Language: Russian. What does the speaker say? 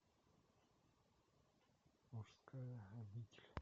мужская обитель